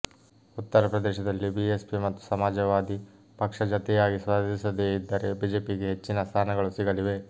ಉತ್ತರ ಪ್ರದೇಶದಲ್ಲಿ ಬಿಎಸ್ಪಿ ಮತ್ತು ಸಮಾಜವಾದಿ ಪಕ್ಷ ಜತೆಯಾಗಿ ಸ್ಪರ್ಧಿಸದೇ ಇದ್ದರೆ ಬಿಜೆಪಿಗೆ ಹೆಚ್ಚಿನ ಸ್ಥಾನಗಳು ಸಿಗಲಿವೆ